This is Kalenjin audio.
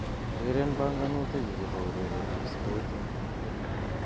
Ureren banganutik chu chebo ureretab spotit